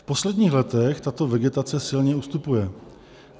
V posledních letech tato vegetace silně ustupuje.